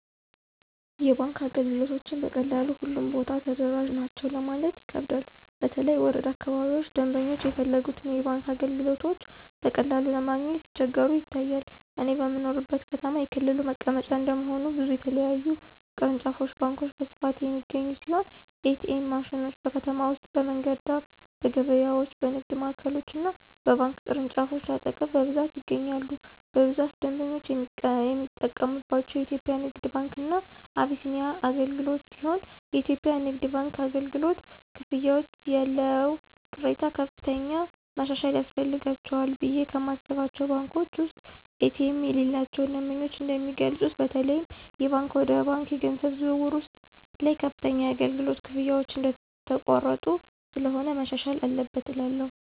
የባንክ አገልግሎቶችን በቀላሉ ሁሉም ቦታ ተደራሽ ናቸው ለማለት ይከብዳል በተለይ ወረዳ አካባቢዎች ደምበኞች የፈለጉትን የባንክ አገልግሎቶች በቀላሉ ለማግኘት ሲቸገሩ ይታያል። እኔ በምኖርበት ከተማ የክልሉ መቀመጫ እንደመሆኑ ብዙ የተለያዩ ቅርንጫፍ ባንኮች በስፋት የሚገኙ ሲሆን ኤ.ቲ.ኤም ማሽኖች: በከተማ ውስጥ በመንገድ ዳር፣ በገበያዎች፣ በንግድ ማዕከሎች እና በባንክ ቅርንጫፎች አጠገብ በብዛት ይገኛሉ። በብዛት ደንበኞች የሚጠቀምባቸው የኢትዮጽያ ንግድ ባንክ እና አቢሲኒያ አገልግሎትሲሆንየኢትዮጵያ ንግድ ባንክ አገልግሎት፨ ክፍያዎች ያለው ቅሬታ ከፍተኛ ማሻሻያ ያስፈልጋቸዋልቑ ብየ ከማስባቸው ባንኮች ውስጥ ኤ.ቲ.ኤም የሌላቸው ደንበኞች እንደሚገልጹት በተለይም የባንክ ወደ ባንክ የገንዘብ ዝውውር ውስጥ ላይ ከፍተኛ የአገልግሎት ክፍያዎች እየተቆረጡ ስለሆነ መሻሻል አለበት እላለሁ።